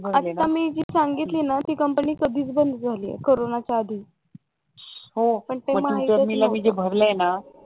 हो आता मी जे सांगितलं ना ती कंपनी कधीच बंद झालीये कोरोनाच्या आधी ते पण मी तुला भराला